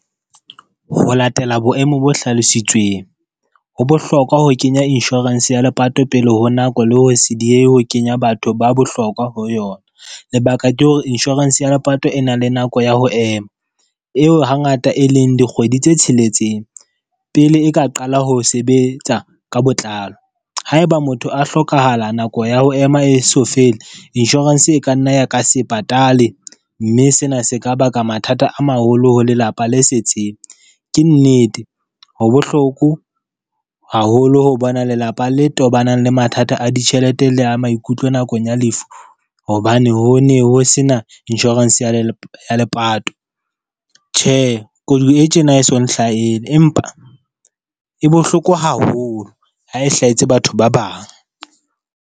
Ho latela boemo bo hlalositsweng, ho bohlokwa ho kenya insurance ya lepato pele ho nako le ho se diehe ho kenya batho ba bohlokwa ho yona. Lebaka ke hore insurance ya lepato e nang le nako ya ho ema, eo hangata e leng dikgwedi tse tsheletseng pele e ka qala ho sebetsa ka botlalo. Haeba motho a hlokahala, nako ya ho ema eso fele, insurance e ka nna ya ka se patale, mme sena se ka baka mathata a maholo ho lelapa le setseng. Ke nnete ho bohloko haholo ho bona lelapa le tobanang le mathata a ditjhelete le a maikutlo nakong ya lefu hobane ho ne ho sena insurance ya lepato. Tjhe, koduwa e tjena ha e so nhlahele empa, e bohloko haholo ha e hlahetse batho ba bang.